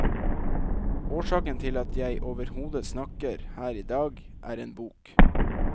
Årsaken til at jeg overhodet snakker her idag, er en bok.